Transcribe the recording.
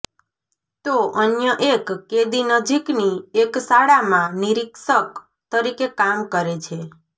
તો અન્ય એક કેદી નજીકની એક શાળામાં નિરિક્ષક તરીકે કામ કરે છે